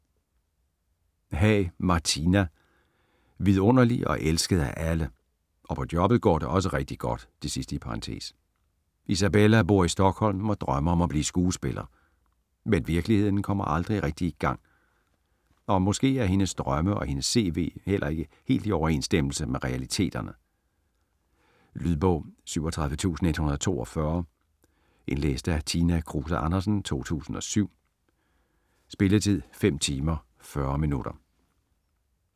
Haag, Martina: Vidunderlig og elsket af alle: (og på jobbet går det også rigtig godt) Isabella bor i Stockholm og drømmer om at blive skuespiller. Men virkeligheden kommer aldrig rigtig i gang! Og måske er hendes drømme og hendes cv heller ikke helt i overensstemmelse med realiteterne? Lydbog 37142 Indlæst af Tina Kruse Andersen, 2007. Spilletid: 5 timer, 40 minutter.